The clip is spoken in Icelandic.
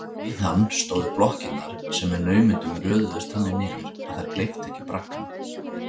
Við hann stóðu blokkirnar, sem með naumindum röðuðust þannig niður að þær gleyptu ekki braggana.